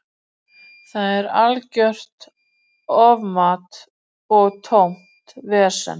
Er algjört ofmat og tómt vesen.